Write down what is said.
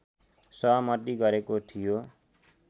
सहमति गरेको थियो